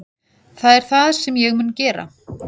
Það er það sem ég mun gera